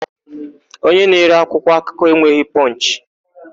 Onye na-ere akwụkwọakụkọ enweghị Pọnchị.